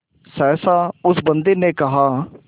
सहसा उस बंदी ने कहा